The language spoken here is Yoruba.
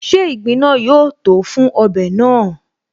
Ṣe ìgbín náà yóó tòó fún ọbẹ̀ náà?